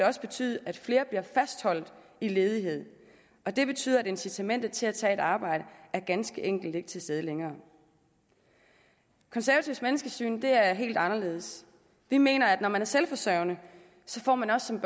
også betyde at flere bliver fastholdt i ledighed og det betyder at incitamentet til at tage et arbejde ganske enkelt ikke er til stede længere konservatives menneskesyn er helt anderledes vi mener at når man er selvforsørgende får man også som